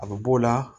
A bɛ b'o la